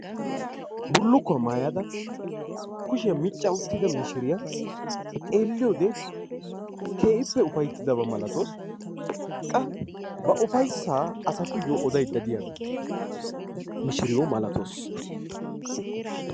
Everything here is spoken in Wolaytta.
Bullukkuwa maayada kushiya micca uttida mishiryia xeelliyode keehippe ufayttidaba malatawusu. Qa ba ufayssa asatuyyo odaydda diya mishiriyo malatawus.